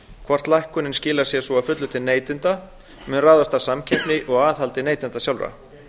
hvort lækkunin skilar sér svo að fullu til neytenda mun ráðast af samkeppni og aðhaldi neytenda sjálfra